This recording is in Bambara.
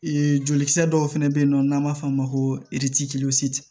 Ee joli kisɛ dɔw fɛnɛ bɛ yen nɔ n'an b'a f'o ma ko